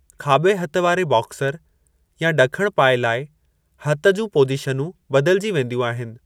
खाॿे हथ वारे बॉक्सर या ॾखण पाऐ लाइ हथ जूं पोज़ीशनूं बदिलिजी वेंदियूं आहिनि।